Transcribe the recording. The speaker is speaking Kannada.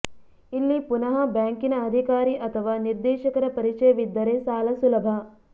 ಇಲ್ಲಿ ಪುನಃ ಬ್ಯಾಂಕಿನ ಅಧಿಕಾರಿ ಅಥವಾ ನಿರ್ದೇಶಕರ ಪರಿಚಯವಿದ್ದರೆ ಸಾಲ ಸುಲಭ